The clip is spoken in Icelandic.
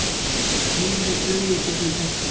Hnífurinn flaug í gegnum tertuna.